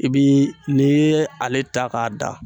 I bi n'i ye ale ta k'a da.